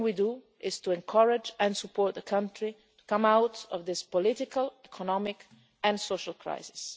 Everything we do is to encourage and support the country to come out of this political, economic and social crisis.